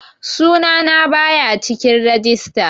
Sunana baya cikin rajista